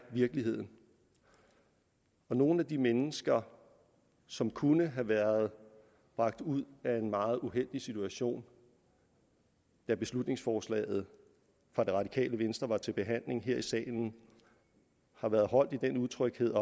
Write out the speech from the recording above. virkeligheden nogle af de mennesker som kunne have været bragt ud af en meget uheldig situation da beslutningsforslaget fra det radikale venstre var til behandling her i salen har været holdt i den utryghed